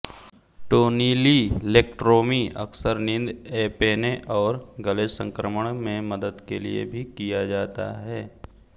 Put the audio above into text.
टोनिलिलेक्ट्रोमी अक्सर नींद एपेने और गले संक्रमण में मदद के लिए भी किया जाता है